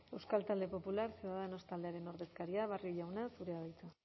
euskal talde popular ciudadanos taldearen ordezkaria barrio jauna zurea da hitza